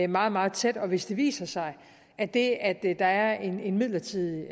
meget meget tæt og hvis det viser sig at det at der er en midlertidig